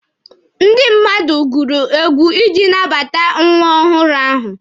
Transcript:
Ndị mmadụ gụrụ egwu iji nabata nwa ọhụrụ ahụ.